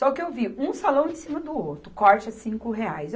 Só que eu vi um salão em cima do outro, corte a cinco reais.